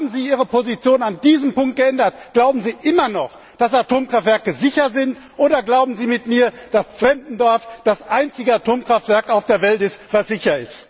Haben Sie Ihre Position in diesem Punkt geändert? Glauben Sie immer noch, dass Atomkraftwerke sicher sind, oder glauben Sie mit mir, dass Zwentendorf das einzige Atomkraftwerk auf der Welt ist, das sicher ist?